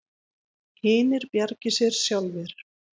Hinir bjargi sér sjálfir.